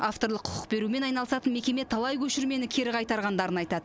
авторлық құқық берумен айналысатын мекеме талай көшірмені кері қайтарғандарын айтады